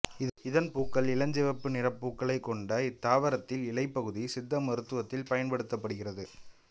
இதன் பூக்கள் இளஞ்சிவப்பு நிறப்பூக்களைக்கொண்ட இத்தாவரத்தில் இலைப்பகுதி சித்த மருத்துவத்தில் பயன்படுத்தப்படுகிறது